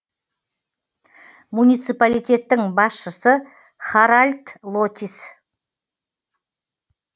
муниципалитеттің басшысы харальд лотис